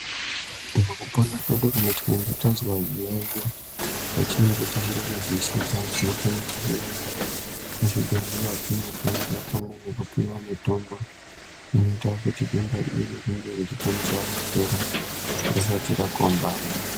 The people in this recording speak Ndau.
Mukupona kwedu kana tazwa zviyaiyo zvatinenge tisiri kuzwisisa tinofanira kuenda kuzvibhedhlera tinohloyiwa pamwe nekupiwa mitombo inoite kuti denda iri rikasike kupera risati rakombama.